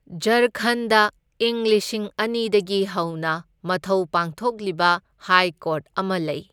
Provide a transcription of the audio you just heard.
ꯓꯥꯔꯈꯟꯗ ꯢꯪ ꯂꯤꯁꯤꯡ ꯑꯅꯤꯗꯒꯤ ꯍꯧꯅ ꯃꯊꯧ ꯄꯥꯡꯊꯣꯛꯂꯤꯕ ꯍꯥꯏ ꯀꯣꯔꯠ ꯑꯃ ꯂꯩ꯫